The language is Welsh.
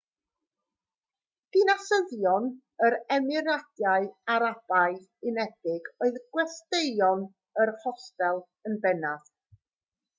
dinasyddion yr emiradau arabaidd unedig oedd gwesteion yr hostel yn bennaf